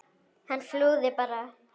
Hann flúði bara!